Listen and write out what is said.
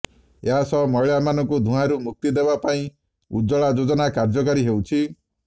ଏହା ସହ ମହିଳାମାନଙ୍କୁ ଧୂଆଁରୁ ମୁକ୍ତି ଦେବା ପାଇଁ ଉଜ୍ଜଳା ଯୋଜନା କାର୍ଯ୍ୟକାରୀ ହେଉଛି